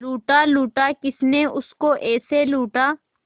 लूटा लूटा किसने उसको ऐसे लूटा